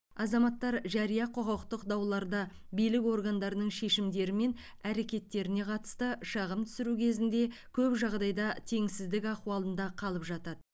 азаматтар жария құқықтық дауларда билік органдарының шешімдері мен әрекеттеріне қатысты шағым түсіру кезінде көп жағдайда теңсіздік ахуалында қалып жатады